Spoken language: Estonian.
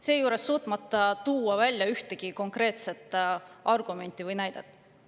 Seejuures ei ole suudetud tuua välja ühtegi konkreetset argumenti või näidet.